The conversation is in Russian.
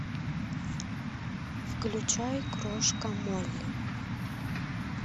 включай крошка молли